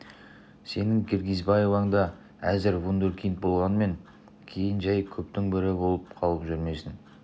сенің киргизбаевың да әзір вундеркинд болғанмен кейін жәй көптің бірі болып қалып жүрмесін